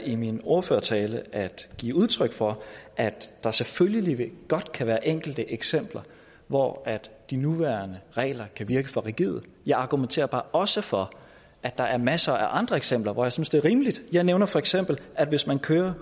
i min ordførertale at give udtryk for at der selvfølgelig godt kan være enkelte eksempler hvor de nuværende regler kan virke for rigide jeg argumenterer bare også for at der er masser af andre eksempler hvor jeg synes det er rimeligt jeg nævnte feks at at hvis man kører